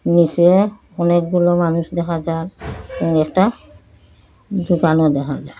নীসে অনেকগুলো মানুষ দেখা যার এবং একটা দোকানও দেখা যার।